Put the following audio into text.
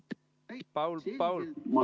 Paul, palun räägi rohkem mikrofoni.